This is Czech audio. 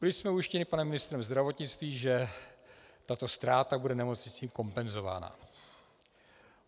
Byli jsme ujištěni panem ministrem zdravotnictví, že tato ztráta bude nemocnicím kompenzována.